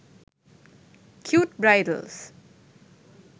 cute bridals